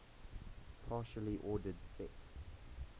partially ordered set